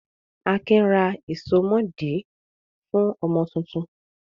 Akin ra ìsomọ́ọ̀dí fún ọmọ tuntun?